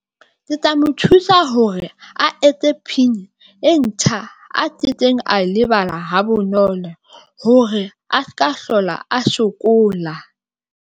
Ke tla mo thusa hore a etse P_I_N e ntjha a ke keng a lebala ha bonolo hore a se ka hlola a sokola.